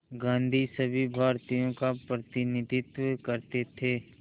गांधी सभी भारतीयों का प्रतिनिधित्व करते थे